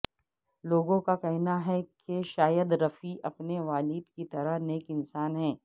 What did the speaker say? لوگوں کا کہنا ہے کہ شاہد رفیع اپنے والد کی طرح نیک انسان ہیں